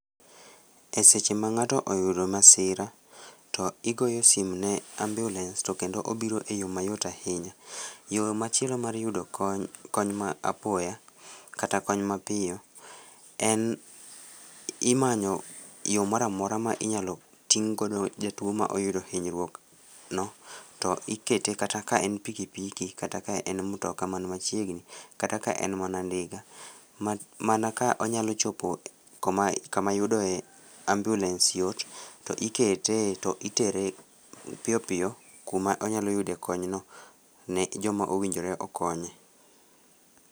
E seche ma ng'ato oyudo masira to igoyo simu ne ambiulens to kendo obiro e yo mayot ahinya. Yo machielo mar yudo kony ma apoya kata kony mapiyo en imanyo yo moro amora ma in yalo ting' godo jatuo maoyudo hinyruok no to ikete kata ka en piki piki kata ka en mtoka man machiegni kata ka en mana ndiga. Mana ka onyalo chopo koma kama yuodoe ambiulens yot to ikete e to itere piyopiyo kuma onyalo yude kony no ne joma owinjore okonye.